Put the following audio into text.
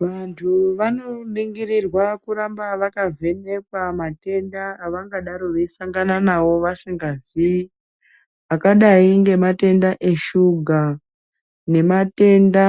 Vantu vanoningirirwa kuramba vakavhenekwa matenda avangadaro veisangana nawo vasinggazivi, akadai. Ngematenda eshuga nematenda